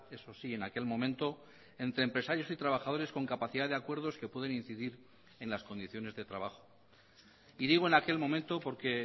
eso sí en aquel momento entre empresarios y trabajadores con capacidad de acuerdos que pueden incidir en las condiciones de trabajo y digo en aquel momento porque